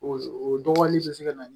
O o dɔgɔnin bɛ se ka na